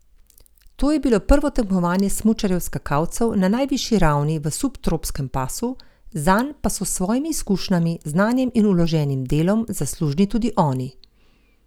To je bilo prvo tekmovanje smučarjev skakalcev na najvišji ravni v subtropskem pasu, zanj pa so s svojimi izkušnjami, znanjem in vloženim delom zaslužni tudi oni.